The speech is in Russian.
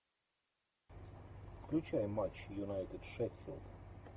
включай матч юнайтед шеффилд